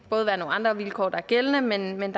være nogle andre vilkår der er gældende men man